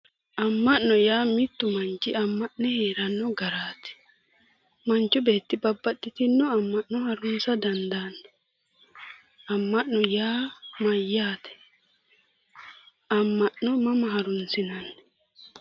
Amma'no yaa mittu manchi amma'ne heeranno garaati. Manchu beetti babbaxxitinno amma'no harunsa dandaanno. Amma'no yaa mayyaate? Ammano mama harunsinanni?